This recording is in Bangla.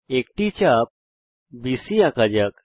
একটি চাপ বিসি আঁকা যাক